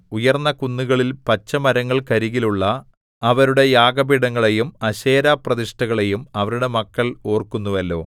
ഉയർന്ന കുന്നുകളിൽ പച്ചമരങ്ങൾക്കരികിലുള്ള അവരുടെ യാഗപീഠങ്ങളെയും അശേരാപ്രതിഷ്ഠകളെയും അവരുടെ മക്കൾ ഓർക്കുന്നുവല്ലോ